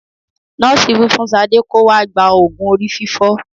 Nọ́ọ̀sì wí fún Sade kó wá gba òògùn orí fífọ